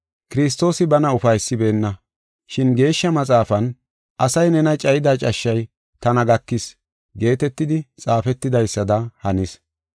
Kiristoosi bana ufaysibeenna. Shin Geeshsha Maxaafan, “Asay nena cayida cashshay tana gakis” geetetidi xaafetidaysada hanis.